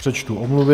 Přečtu omluvy.